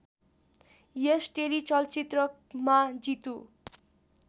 यस टेलिचलचित्रमा जितु